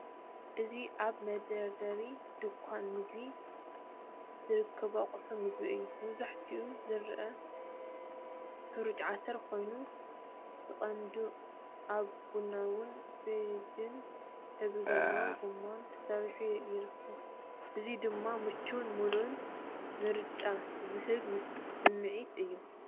እዚ ኣብ መደርደሪ ድኳን ምግቢ ዝርከቡ ኣቑሑት መግቢ እዩ። መብዛሕትኡ ዝረአ ሕረጭ ዓተር ኮይኑ፡ ብቐንዱ ኣብ ቡናውን ቢጅን ሕብሪ ዘለዎ ጎማታት ተሰሪዑ ይርከብ። እዚ ድማ ምቹእን ምሉእን ምርጫ ዝህብ ስምዒት እዩ።